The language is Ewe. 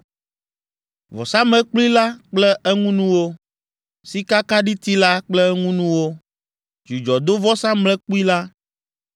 vɔsamlekpui la kple eŋunuwo, sikakaɖiti la kple eŋunuwo, dzudzɔdovɔsamlekpui la,